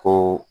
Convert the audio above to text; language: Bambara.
Ko